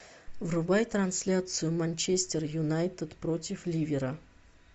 врубай трансляцию манчестер юнайтед против ливера